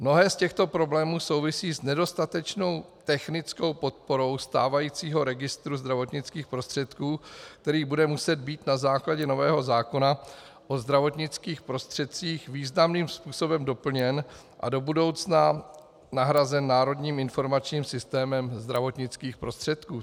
Mnohé z těchto problémů souvisí s nedostatečnou technickou podporou stávajícího registru zdravotnických prostředků, který bude muset být na základě nového zákona o zdravotnických prostředcích významným způsobem doplněn a do budoucna nahrazen národním informačním systémem zdravotnických prostředků.